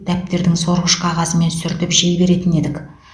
дәптердің сорғыш қағазымен сүртіп жей беретін едік